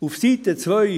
Auf Seite 2